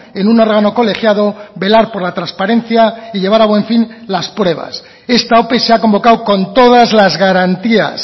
en un órgano colegiado velar por la transparencia y llevar a buen fin las pruebas esta ope se ha convocado con todas las garantías